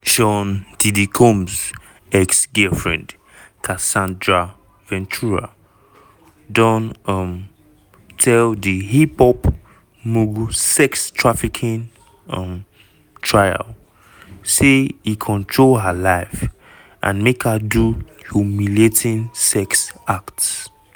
sean "diddy" combs ex-girlfriend casandra ventura don um tell di hip-hop mogul sex-trafficking um trial say e control her life and make her do "humiliating" sex acts.